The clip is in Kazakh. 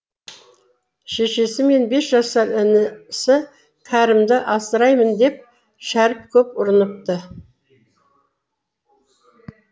шешесі мен бес жасар інісі кәрімді асыраймын деп шәріп көп ұрыныпты